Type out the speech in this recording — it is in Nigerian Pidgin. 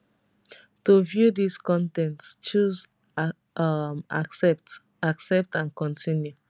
to view dis con ten t choose um accept accept and continue